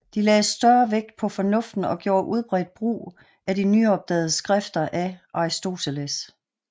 De lagde større vægt på fornuften og gjorde udbredt brugt af de nyopdagede skrifter a Arisoteles